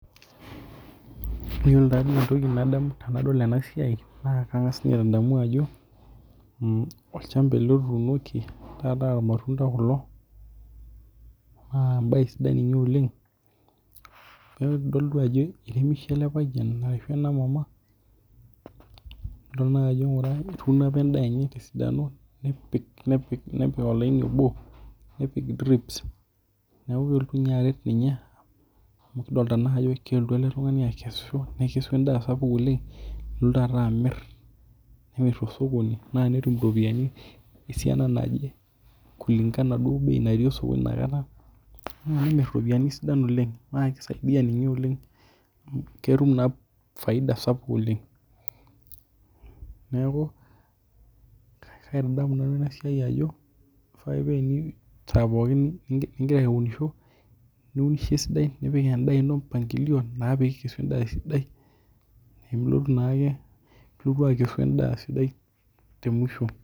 Iyiolo naa entoki nadamu tendaol ena siai naa kanga's ninye adamu ajo. Olchamba ele otunoki ha naa irmatunda kulo naa enae sidai ninye oleng'. Ikidol ninye ajo iremishe ele payian arashu ena maama adol naa ajo etuno apaa edaa enye kisidai nepik olaini oboo nepiki neeku ninya amu kidolitaaa naa ajo kelotu ele tung'ani akesu nekesu edaa sapuk oleng' nelotu alo amir nemir too sokoni naa tenetum iropiani esiana naji kulingana duo oo bei nairosu nenmir iropiani sidan oleng naa kisaidia ninye oleng' amu keetum naa faida sapuk oleng' neeku kaitadamu nanu ena siai ajo leifaa isai pookin negira aunisho niunisho esidai nipik edaa ino mpangilio naa pee ikesu edaa sidai nemilo naakee ilotu akesuedaa sidai te mwisho.